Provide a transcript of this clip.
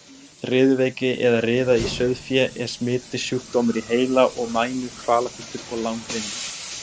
Riðuveiki eða riða í sauðfé er smitandi sjúkdómur í heila og mænu, kvalafullur og langvinnur.